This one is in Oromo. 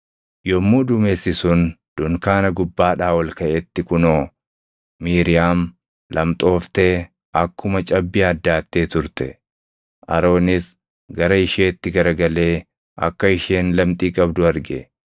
Yommuu duumessi sun dunkaana gubbaadhaa ol kaʼetti kunoo, Miiriyaam lamxooftee akkuma cabbii addaattee turte. Aroonis gara isheetti garagalee akka isheen lamxii qabdu arge;